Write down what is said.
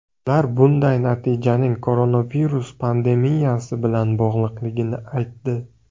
Ular bunday natijaning koronavirus pandemiyasi bilan bog‘liqligini aytdi.